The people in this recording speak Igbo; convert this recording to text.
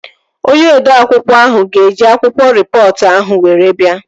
Onye odeakwụkwọ ahụ ga eji akwụkwọ rịpọtụ ahụ were bia